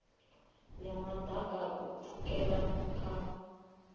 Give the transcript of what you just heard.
ya maḓaka u pfukela kha